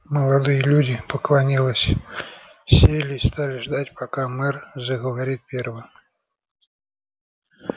молодые люди поклонилась сели и стали ждать пока мэр заговорит первым